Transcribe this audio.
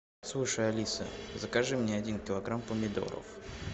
слушай алиса закажи мне один килограмм помидоров